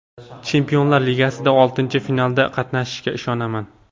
Chempionlar Ligasidagi oltinchi finalda qatnashishga ishonaman.